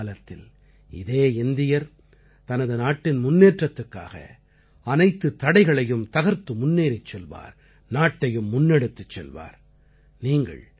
ஆனால் இனிவரும் காலத்தில் இதே இந்தியர் தனது நாட்டின் முன்னேற்றத்துக்காக அனைத்துத் தடைகளையும் தகர்த்து முன்னேறிச் செல்வார் நாட்டையும் முன்னெடுத்துச் செல்வார்